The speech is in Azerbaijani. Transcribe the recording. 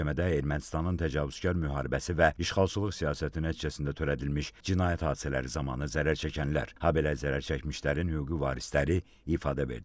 Sonra məhkəmədə Ermənistanın təcavüzkar müharibəsi və işğalçılıq siyasəti nəticəsində törədilmiş cinayət hadisələri zamanı zərər çəkənlər, habelə zərər çəkmişlərin hüquqi varisləri ifadə verdilər.